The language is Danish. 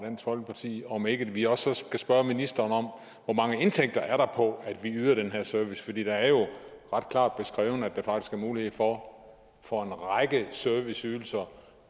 folkeparti om ikke vi også skal spørge ministeren om hvor mange indtægter der er på at vi yder den her service for det er jo ret klart beskrevet at der faktisk er mulighed for for en række serviceydelser